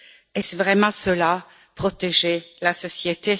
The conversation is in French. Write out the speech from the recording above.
Est ce vraiment cela protéger la société?